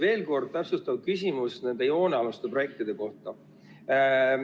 Veel kord täpsustav küsimus nende joonealuste projektide kohta.